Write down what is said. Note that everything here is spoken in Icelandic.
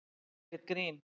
Þetta er ekkert grín.